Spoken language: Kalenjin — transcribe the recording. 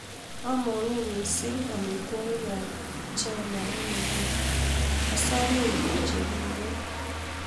Amongu mising' amitwogikab chebo China eng nguni, asame ikur chekiibu